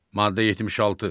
Maddə 76.